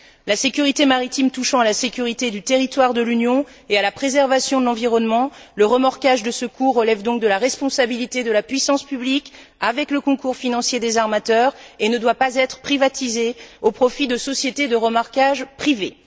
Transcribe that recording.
La sécurité maritime touchant à la sécurité du territoire de l'Union et à la préservation de l'environnement, le remorquage de secours relève donc de la responsabilité de la puissance publique, avec le concours financier des armateurs, et ne doit pas être privatisé au profit de sociétés de remorquage privées.